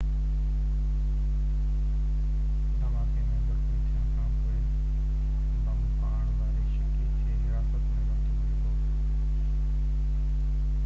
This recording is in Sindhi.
دهماڪي ۾ زخمي ٿيڻ کانپوءِ بم ڦاڙڻ واري شڪي کي حراست ۾ ورتو ويو هو